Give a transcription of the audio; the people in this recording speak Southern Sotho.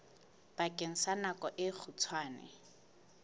bakeng sa nako e kgutshwane